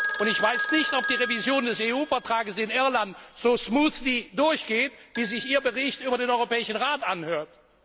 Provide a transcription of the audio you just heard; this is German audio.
Und ich weiß nicht, ob die Revision des EU Vertrags in Irland so reibungslos durchgeht, wie sich Ihr Bericht über den Europäischen Rat anhört.